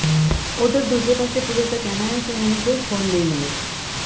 ਉਧਰ ਦੂਜੇ ਪਾਸੇ ਪੁਲਸ ਦਾ ਕਹਿਣਾ ਹੈ ਕਿ ਉਨ੍ਹਾਂ ਨੂੰ ਕੋਈ ਖੋਲ੍ਹ ਨਹੀਂ ਮਿਲੇ